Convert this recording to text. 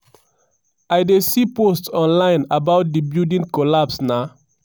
im i run reach here di main di main story be say di building no collapse but e sink.